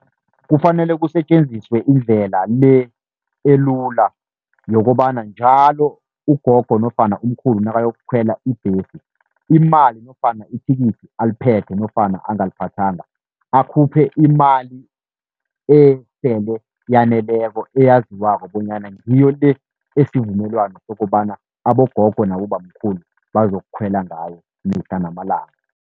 Kufanele kusetjenziswe indlela le elula yokobana njalo ugogo nofana umkhulu, nakayokukhwela ibhesi imali nofana ithikithi aliphethe nofana angaliphathanga, akhuphe imali esele yaneleko eyaziwako bonyana ngiyo le esivumelwano sokobana abogogo nabobamkhulu bazokukhwela ngayo, mihla namalanga.